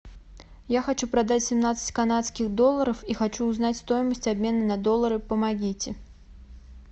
я хочу продать семнадцать канадских долларов и хочу узнать стоимость обмена на доллары помогите